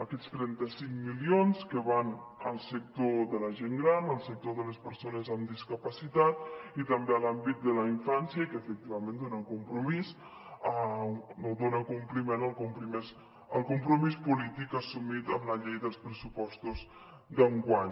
aquests trenta cinc milions que van al sector de la gent gran al sector de les persones amb discapacitat i també a l’àmbit de la infància i que efectivament dona compliment al compromís polític assumit en la llei dels pressupostos d’enguany